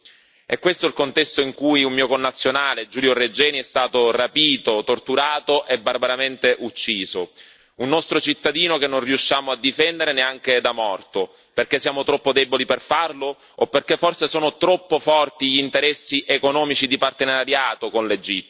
È questo il contesto in cui un mio connazionale, Giulio Regeni, è stato rapito, torturato e barbaramente ucciso. Un nostro cittadino che non riusciamo a difendere neanche da morto, perché siamo troppo deboli per farlo o perché forse sono troppo forti gli interessi economici di partenariato con l'Egitto.